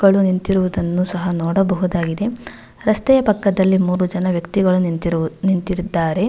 ಗಳು ನಿಂತಿರುವುದನ್ನು ಸಹ ನೋಡಬಹುದಾಗಿದೆ ರಸ್ತೆ ಪಕ್ಕದಲ್ಲಿ ಮೂರು ಜನ ವ್ಯಕ್ತಿಗಳು ನಿಂತಿರುವು ನಿಂತಿರುತ್ತಾರೆ.